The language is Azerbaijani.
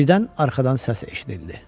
Birdən arxadan səs eşidildi.